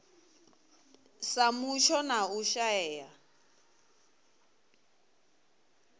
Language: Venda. sa mutsho na u shaea